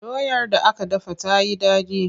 Doyar da aka dafa ta yi daɗi.